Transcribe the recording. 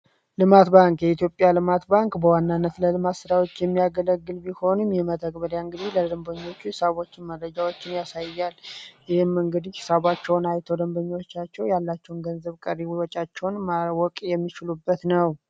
ልማት ባንክ የኢትዮጵያ ልማት ባንክ በዋናነት ለልማት ስራዎች የሚያገለግል ቢሆንም ይህ መተግበሪያ እንግዲህ ለደንበኞቹ ሃሳቦችን እና ማደጊያዎችን ያሳያል። ይህም እንግዲህ ሀሳባቸውን አይቶ ደንበኞቻቸው ያላቸውን ቀሪ ሂሳባቸውን ማወቅ የሚችሉበት ነው።